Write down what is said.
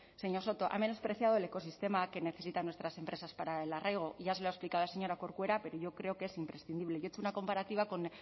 señor soto ha menospreciado el ecosistema que necesitan nuestras empresas para el arraigo y ya se lo ha explicado la señora corcuera pero yo creo que es imprescindible yo he hecho una comparativa